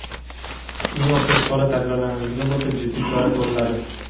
Shunga o‘xshash holat takrorlanadigan bo‘lsa jiddiy chora ko‘riladi.